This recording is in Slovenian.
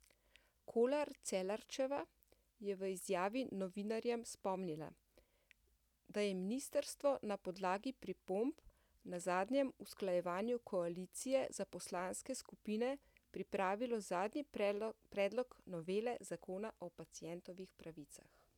Kolar Celarčeva je v izjavi novinarjem spomnila, da je ministrstvo na podlagi pripomb na zadnjem usklajevanju koalicije za poslanske skupine pripravilo zadnji predlog novele zakona o pacientovih pravicah.